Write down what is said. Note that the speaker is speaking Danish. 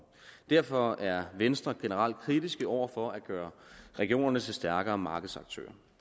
derfor er venstre generelt kritiske over for at gøre regionerne til stærkere markedsaktører